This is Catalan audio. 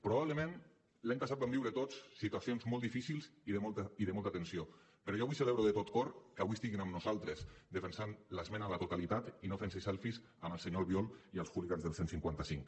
probablement l’any passat vam viure tots situacions molt difícils i de molta tensió però jo avui celebro de tot cor que avui estiguin amb nosaltres defensant l’esmena a la totalitat i no fent se selfies amb el senyor albiol i els hooligans del cent i cinquanta cinc